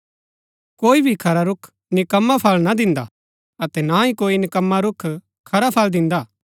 कोई भी खरा रूख निक्कमा फल ना दिन्दा अतै ना ही कोई निक्कमा रूख खरा फल दिन्दा